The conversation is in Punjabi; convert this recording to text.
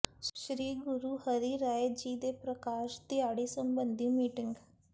ਸ੍ਰੀ ਗੁਰੂ ਹਰਿ ਰਾਇ ਜੀ ਦੇ ਪ੍ਰਕਾਸ਼ ਦਿਹਾੜੇ ਸਬੰਧੀ ਮੀਟਿੰਗ